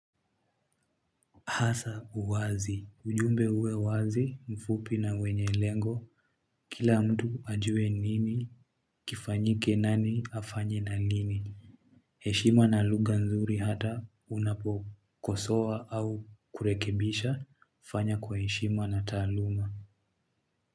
Hasa uwazi ujumbe uwe wazi mfupi na wenye lengo kila mtu ajue nini kifanyike nani afanye na nini heshima na lugha nzuri hata unapokosoa au kurekebisha fanya kwa heshima na taaluma.